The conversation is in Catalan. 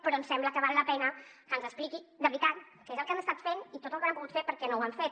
però ens sembla que val la pena que ens expliqui de veritat què és el que han estat fent i tot el que no han pogut fer per què no ho han fet